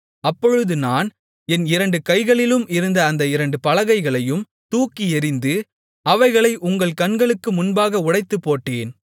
அப்பொழுது நான் என் இரண்டு கைகளிலும் இருந்த அந்த இரண்டு பலகைகளையும் தூக்கி எறிந்து அவைகளை உங்கள் கண்களுக்கு முன்பாக உடைத்துப்போட்டேன்